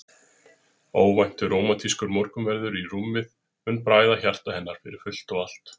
Óvæntur, rómantískur morgunverður í rúmið mun bræða hjarta hennar fyrir fullt og allt.